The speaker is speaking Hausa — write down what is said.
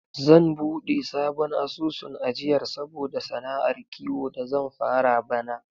Zan buɗe sabon asusun ajiyar saboda sana'ar kiwo da zan fara bana.